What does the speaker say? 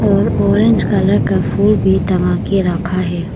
और orange colour का फूल भी टंगा के रखा है।